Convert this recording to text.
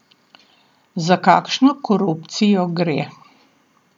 Za kakšno korupcijo gre?